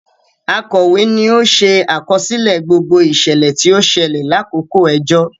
Akọwe ní o ṣe àkọsílẹ̀ gbogbo iṣẹlẹ ti o ṣẹlẹ lakoko ẹjọ